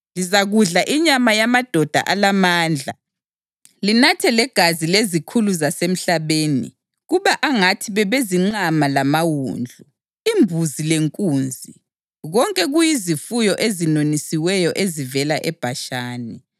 Lizakudla inyama yamadoda alamandla linathe legazi lezikhulu zasemhlabeni kube angathi bebezinqama lamawundlu, imbuzi lenkunzi, konke kuyizifuyo ezinonisiweyo ezivela eBhashani.